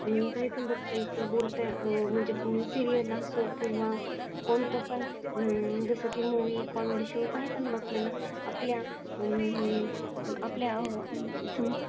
अं काही पण बघता येतो. बोलतात अं म्हणजे सीरियल असो किंवा कोणतं पण अं जसं की मूव्ही कॉमेडी शो काही पण मग आपल्या ला आपल्या आह अं आपल्या अं समज